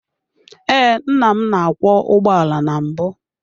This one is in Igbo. Ee, nna m na-akwọ ụgbọala na mbụ.